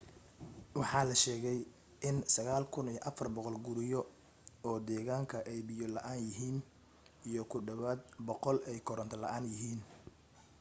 waxaa la sheegay in 9400 guriyo oo deegaanka ay biyo la'aan yihiim iyo ku dhawaad 100 ay koronto la'aan yihiin